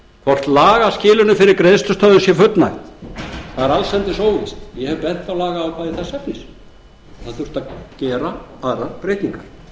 hvort lagaskilyrðum fyrir greiðslustöðvun sé fullnægt það er allsendis óvíst ég hef bent á lagaákvæði þess efnis og að það þurfti að gera aðrar breytingar